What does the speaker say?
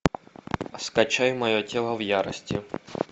скачай мое тело в ярости